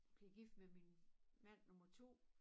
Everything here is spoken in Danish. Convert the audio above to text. Blev gift med min mand nummer 2